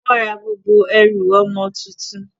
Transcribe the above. Wọ́n ra gbogbo ẹrù ọmọ tuntun.